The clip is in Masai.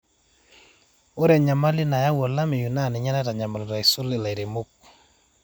ore enyamali nayau olameyu naa ninye naitanyamalita aisul ilairemok